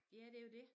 Ja det jo dét